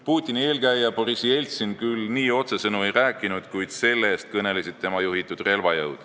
Putini eelkäija Boriss Jeltsin küll nii otsesõnu ei rääkinud, kuid see-eest kõnelesid tema juhitud relvajõud.